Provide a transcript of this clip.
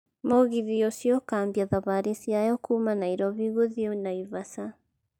mũgithi ũcio ũkambia thabarĩ ciayo kuma Nairobi gũthii Naivasha